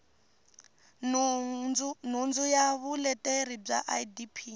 nhundzu ya vuleteri bya idp